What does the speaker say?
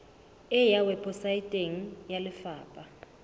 e ya weposaeteng ya lefapha